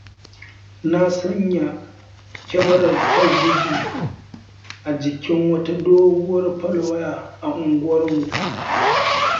Na sanya kyamarar talabijin a jikin wata doguwar falwaya a unguwarmu.